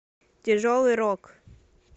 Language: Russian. тяжелый рок